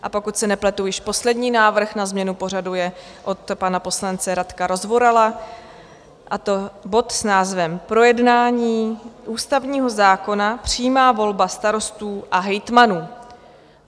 A pokud se nepletu, již poslední návrh na změnu pořadu je od pana poslance Radka Rozvorala, a to bod s názvem Projednání ústavního zákona, přímá volba starostů a hejtmanů.